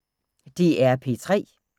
DR P3